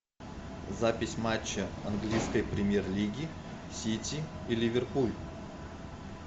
запись матча английской премьер лиги сити и ливерпуль